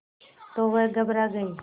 तो वह घबरा गई